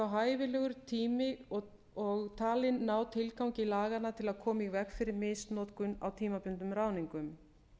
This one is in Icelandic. hæfilegur tími og talinn ná tilgangi laganna til að koma í veg fyrir misnotkun á tímabundnum ráðningum